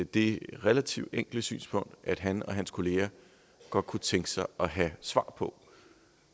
det relativt enkle synspunkt at han og hans kollegaer godt kunne tænke sig at have et svar på